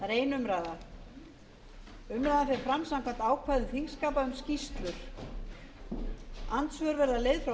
umræðan fer fram samkvæmt ákvæðum þingskapa um skýrslur andsvör verða leyfð frá